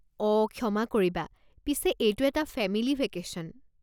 অ' ক্ষমা কৰিবা, পিছে এইটো এটা ফেমিলী ভেকেশ্যন।